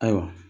Ayiwa